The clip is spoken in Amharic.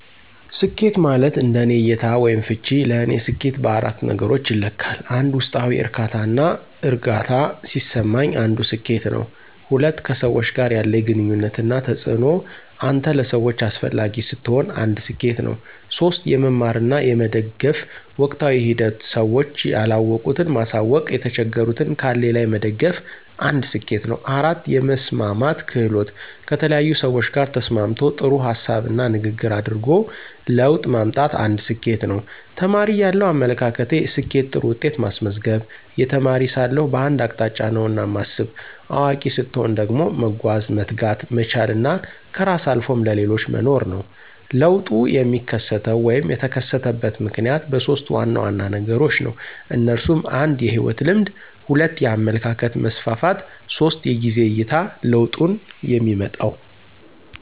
ስኬት ማለት እንደኔ እይታ /ፍች ለኔ ሰኬት በአራት ነገሮች ይለካል 1, ውስጣዊ ዕርካታና እርግአታ ሲሰማኝ አንዱ ስኬት ነው። 2, ከሰዎች ጋር ያለኝ ግንኙነት እና ተጽእኖ አንተ ለሰዎች አሰፈላጊ ስትሆን አንድ ሰኬት ነው። 3, የመማር እና የመደገፍ ወቅታዊ ሂደት ስዎች ያለወቁት ማሳውቅ የተቸገሩትን ካለኝ ላይ መደገፍ አንድ ስኬት ነው 4, የመስማማት ክህሎት: ከተለያዪ ሰዎች ጋር ተስማምቶ ጥሩ ሀሳብና ንግግር አድርጎ ለውጥ ማምጣት አንድ ስኬት ነው። ተማሪ እያለው አመለካከቴ፦ ስኬት ጥሩ ውጤት ማስመዝገብ, የተማሪ ሳለሁ በአንድ አቅጣጫ ነውና ማስብ። አዋቂ ሰትሆን ደግሞ መጓዝ፣ መትጋት፣ መቻል እና ከራስ አልፎም ለሌሎች መኖር ነው። ለውጡ የሚከሰተው /የተከሰተበት ምክንያት በሦስት ዋና ዋና ነገሮች ነው። እነሱም 1, የህይወት ልምድ 2, የአመለካከት መስፍፍት 3, የጊዜ አይታ ለውጡንየሚመጣው።